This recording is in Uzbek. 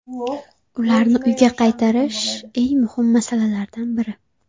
Ularni uyga qaytarish eng muhim masalalardan biri.